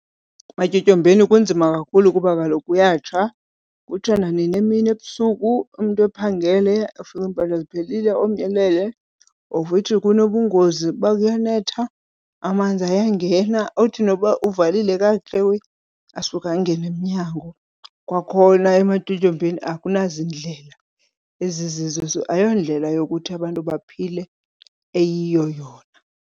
Ematyotyombeni kunzima kakhulu kuba kaloku kuyatsha kutsha nanini, emini ebusuku, umntu ephangele afike iimpahla ziphelile, omnye elele of which kunobungozi. Uba kuyanetha amanzi ayangena, uthi noba uvalile kakuhle asuke angene emnyango. Kwakhona ematyotyombeni akunazindlela ezizizo, ayondlela yokuthi abantu baphile eyiyo yona.